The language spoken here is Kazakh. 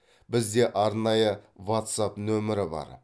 бізде арнайы ватсапп нөмірі бар